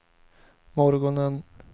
morgonen